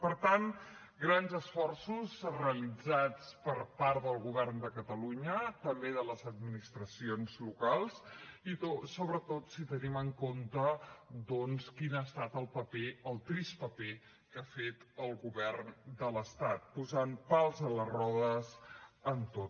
per tant grans esforços realitzats per part del govern de catalunya també de les administracions locals i sobretot si tenim en compte doncs quin ha estat el paper el trist paper que ha fet el govern de l’estat posant pals a les rodes en tot